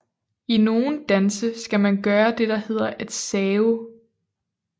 I nogle danse skal man gøre det der hedder at save